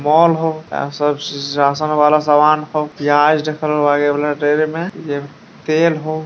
Mall हो या सब रा-राशन वाला सामान हो पियाज रखल बागे रेल मे जे तेल हो।